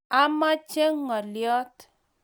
amoche ngoliot.